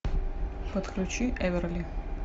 подключи эверли